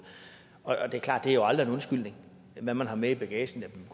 det er klart at det aldrig er en undskyldning hvad man har med i bagagen